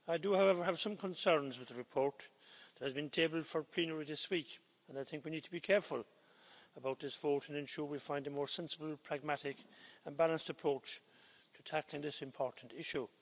However, I have some concerns with the report that has been tabled for plenary this week, and I think we need to be careful about this vote and ensure that we find a more sensible, pragmatic and balanced approach to tackling this important issue.